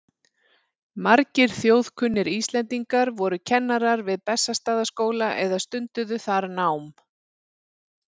Margir þjóðkunnir Íslendingar voru kennarar við Bessastaðaskóla eða stunduðu þar nám.